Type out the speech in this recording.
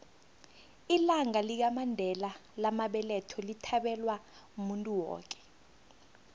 ilanga lamandela lamabeletho lithabelwa muntu woke